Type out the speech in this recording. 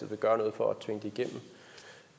vil gøre noget for